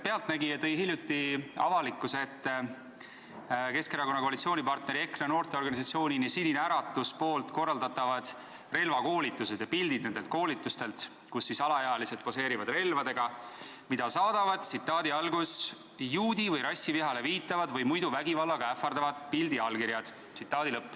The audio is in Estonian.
"Pealtnägija" tõi hiljuti avalikkuse ette Keskerakonna koalitsioonipartneri EKRE noorteorganisatsiooni Sinine Äratus korraldatavad relvakoolitused ja pildid nendelt koolitustelt, kus alaealised poseerivad relvadega, mida saadavad "juudi- või rassivihale viitavad või muidu vägivallaga ähvardavad pildiallkirjad".